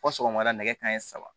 Fɔ sɔgɔmada nɛgɛ kanɲɛ saba